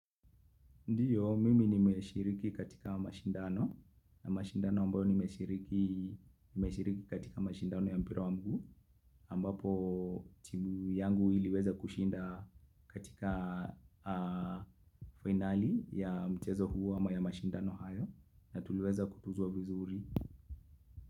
Ndio, mimi nimeshiriki katika mashindano, na mashindano ambayo nimeshiriki katika mashindano ya mpira wa miguu, ambapo timu yangu iliweza kushinda katika fainali ya mchezo huu ama ya mashindano hayo, na tuliweza kutuzwa vizuri.